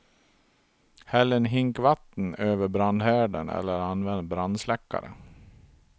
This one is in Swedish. Häll en hink vatten över brandhärden eller använd brandsläckare.